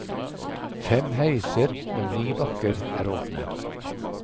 Fem heiser og ni bakker er åpne.